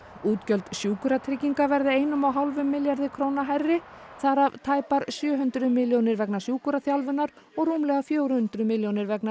útgjöld Sjúkratrygginga verða einum og hálfum milljarði króna hærri þar af tæpar sjö hundruð milljónir vegna sjúkraþjálfunar og rúmlega fjögur hundruð milljónir vegna